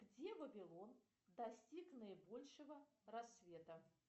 где вавилон достиг наибольшего расцвета